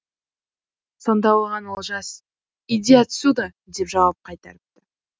сонда оған олжас иди отсюда деп жауап қайтарыпты